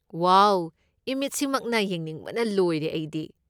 ꯋꯥꯎ! ꯏꯃꯤꯠꯁꯤꯃꯛꯅ ꯌꯦꯡꯅꯤꯡꯕꯅ ꯂꯣꯏꯔꯦ ꯑꯩꯗꯤ꯫